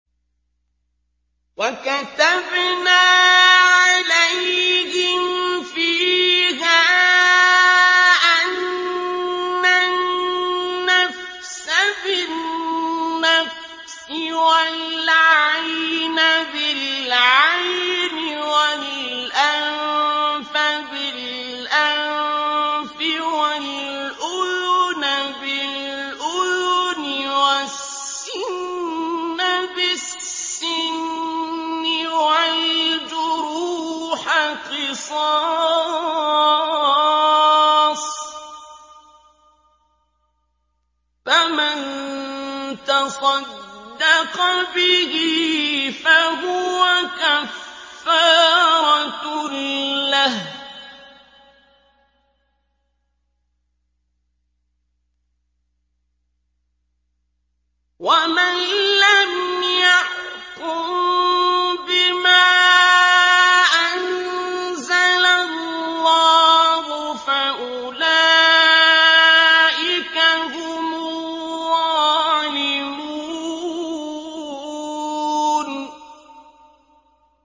وَكَتَبْنَا عَلَيْهِمْ فِيهَا أَنَّ النَّفْسَ بِالنَّفْسِ وَالْعَيْنَ بِالْعَيْنِ وَالْأَنفَ بِالْأَنفِ وَالْأُذُنَ بِالْأُذُنِ وَالسِّنَّ بِالسِّنِّ وَالْجُرُوحَ قِصَاصٌ ۚ فَمَن تَصَدَّقَ بِهِ فَهُوَ كَفَّارَةٌ لَّهُ ۚ وَمَن لَّمْ يَحْكُم بِمَا أَنزَلَ اللَّهُ فَأُولَٰئِكَ هُمُ الظَّالِمُونَ